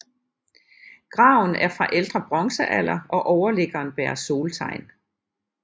Graven er fra ældre bronzealder og overliggeren bærer soltegn